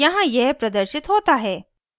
यहाँ यह प्रदर्शित होता है: